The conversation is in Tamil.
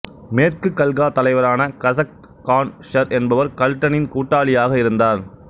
மேற்கு கல்கா தலைவரான சசக்ட் கான் ஷர் என்பவர் கல்டனின் கூட்டாளியாக இருந்தார்